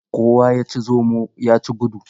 Kowa ya ci zomo, ya ci gudu.